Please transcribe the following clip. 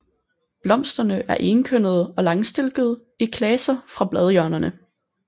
Blomsterne er enkønnede og langstilkede i klaser fra bladhjørnerne